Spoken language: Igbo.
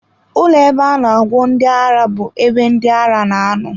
Ụlọ ebe a na agwọ ndị ara bụ ebe ndị ara na-anọ.